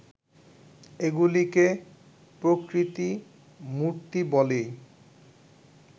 এগুলিকে প্রকৃতিমূর্তি বলেই